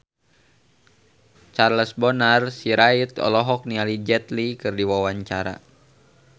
Charles Bonar Sirait olohok ningali Jet Li keur diwawancara